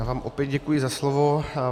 Já vám opět děkuji za slovo.